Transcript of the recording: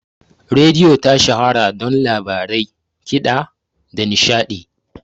Rediyo ta shahara don labarai, kiɗa, da nishaɗi